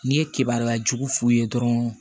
N'i ye kebaliya jugu f'u ye dɔrɔn